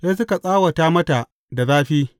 Sai suka tsawata mata da zafi.